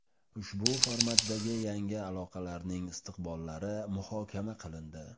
Ushbu formatdagi yangi aloqalarning istiqbollari muhokama qilindi”.